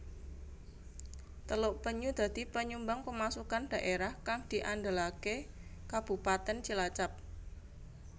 Teluk Penyu dadi panyumbang pemasukan dhaérah kang diandelaké Kabupatèn Cilacap